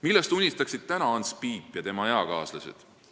Millest unistaksid täna Ants Piip ja tema eakaaslased?